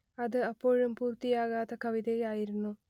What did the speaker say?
അത് അപ്പോഴും പൂർത്തിയാകാത്ത കവിതയായിരുന്നു